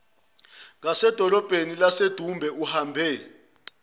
ngasedolobheni lasedumbe uhambe